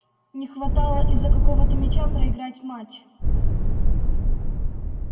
не хватало из-за какого-то мяча проиграть матч